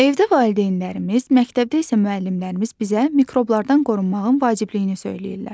Evdə valideynlərimiz, məktəbdə isə müəllimlərimiz bizə mikroblardan qorunmağın vacibliyini söyləyirlər.